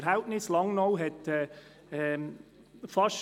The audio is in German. – Wir führen im achten und neunten Schuljahr